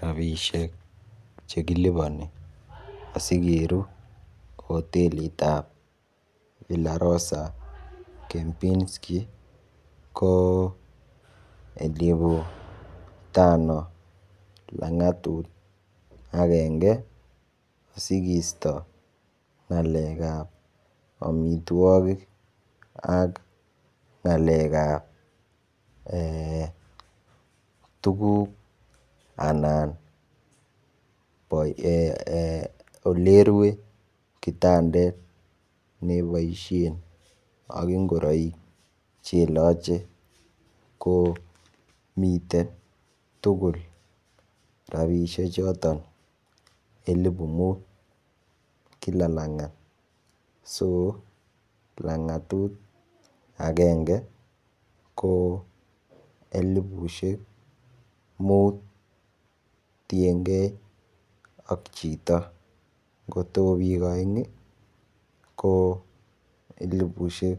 Rabishek chekiliponi sikeru hotelitab villarosa kempisku ko elibu tano langatut agenge asikisyo ngalekab omitwokik ak ngalekab eeh tukuk anan bois eh olerue kitandet neboishen ak ingoroik cheloche ko miten tukul rabishek choton elibu mut Kila langat, so langatut agenge ko elibushek mut tiyengee ak chito kotokokikoin ko elibushek